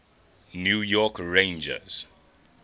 new york rangers